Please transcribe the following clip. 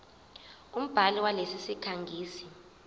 umbhali walesi sikhangisi